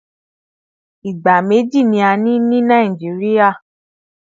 Ìgbà méjì ni a ní ní Nàìjíríà